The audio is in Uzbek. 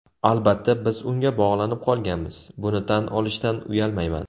Albatta, biz unga bog‘lanib qolganmiz, buni tan olishdan uyalmayman.